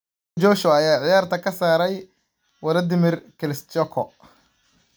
Anthony Joshua ayaa ciyaarta ka saaray Wladimir Klitschko